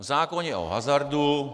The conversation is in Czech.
V zákoně o hazardu -